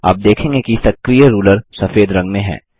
आप देखेंगे कि सक्रिय रूलर सफेद रंग में है